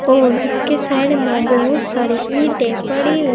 और इसके साइड में बहोत सारी ईंटें पड़ी हु--